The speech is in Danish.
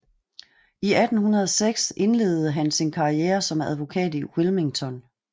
I 1806 indledede han sin karriere som advokat i Wilmington